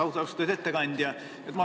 Austatud ettekandja!